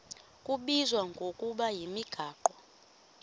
kubizwa ngokuba yimigaqo